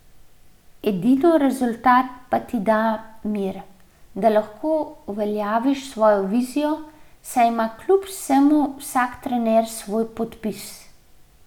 Edino rezultat pa ti da mir, da lahko uveljaviš svojo vizijo, saj ima kljub vsemu vsak trener svoj podpis.